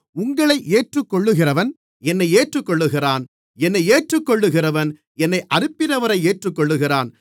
உங்களை ஏற்றுக்கொள்ளுகிறவன் என்னை ஏற்றுக்கொள்ளுகிறான் என்னை ஏற்றுக்கொள்ளுகிறவன் என்னை அனுப்பினவரை ஏற்றுக்கொள்ளுகிறான்